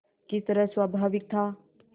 किस तरह स्वाभाविक था